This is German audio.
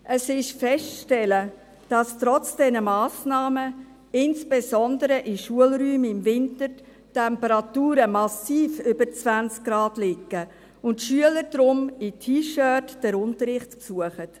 – Es ist festzustellen, dass trotz dieser Massnahmen insbesondere in Schulräumen im Winter die Temperaturen massiv über 20 Grad liegen und die Schüler deshalb in T-Shirts den Unterricht besuchen.